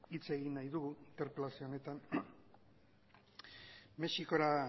hitz egin nahi dugu interpelazio honetan mexikora